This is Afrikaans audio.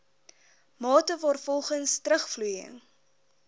mate waarvolgens terugvloeiing